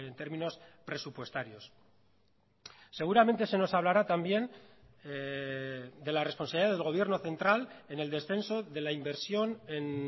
términos presupuestarios seguramente se nos hablará también de la responsabilidad del gobierno central en el descenso de la inversión en